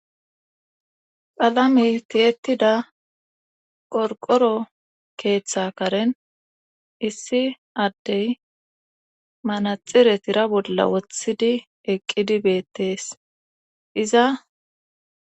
palame tiyetida qorqoro keeththa karen issi addey manaxire tira bolla wothidi eqqidi beettees iza